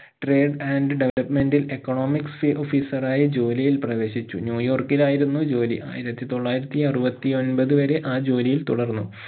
trade and development ഇൽ economics officer ആയി ജോലിയിൽ പ്രവേശിച്ചു ന്യൂയോർക്കിലായിരുന്നു ജോലി ആയിരത്തി തൊള്ളായിരത്തി അറുപത്തി ഒൻപത് വരെ ആ ജോലിയിൽ തുടർന്നു